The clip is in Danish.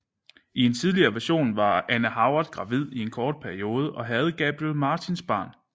I en tidligere version var Anne Howard gravid i en kort periode og havde Gabriel Martins barn